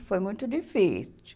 foi muito difícil.